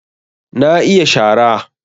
Na iya shara